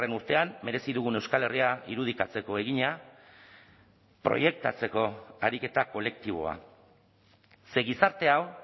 urtean merezi dugun euskal herria irudikatzeko egina proiektatzeko ariketa kolektiboa ze gizarte hau